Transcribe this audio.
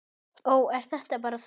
Ó, ert þetta bara þú?